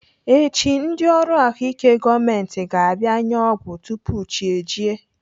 Echi, ndị ọrụ ahụike gọọmenti ga-abịa enye ọgwụ tupu chi ejie.